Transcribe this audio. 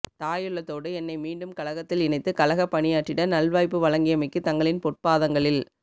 தாயுள்ளத்தோடு என்னை மீண்டும் கழகத்தில் இணைத்து கழகப் பணியாற்றிட நல்வாய்ப்பு வழங்கியமைக்கு தங்களின் பொற்பாதங்களில்